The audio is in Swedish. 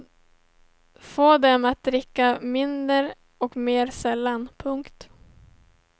Få dem att dricka mindre och mer sällan. punkt